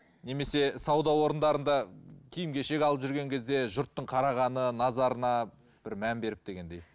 немесе сауда орындарында киім кешек алып жүрген кезде жұрттың қарағаны назарына бір мән беріп дегендей